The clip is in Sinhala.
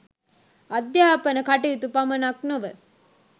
අධ්‍යාපන කටයුතු පමණක් නොව